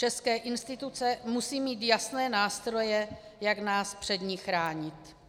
České instituce musejí mít jasné nástroje, jak nás před ní chránit.